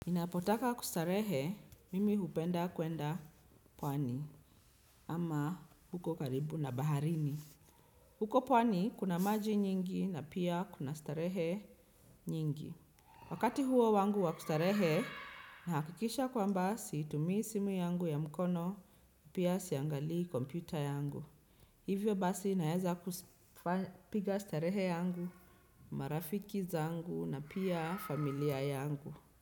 Ninapotaka kustarehe, mimi hupenda kwenda pwani, ama huko karibu na baharini. Huko pwani kuna maji nyingi na pia kuna starehe nyingi. Wakati huo wangu wa kustarehe, nahakikisha kwamba siitumii simu yangu ya mkono, pia siangalii kompyuta yangu. Hivyo basi, naweza kupiga starehe yangu, marafiki zangu na pia familia yangu.